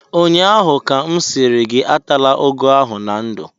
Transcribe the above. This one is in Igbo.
ụnyaahụ ka m sịrị gị atala ụgụ ahụ na ndụ!